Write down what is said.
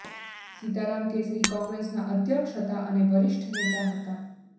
સીતારામ કેસરી કોંગ્રેસના અધ્યક્ષ હતા અને વરિષ્ઠ નેતા હતા